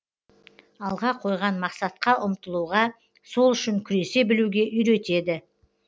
алға қойған мақсатқа ұмтылуға сол үшін күресе білуге үйретеді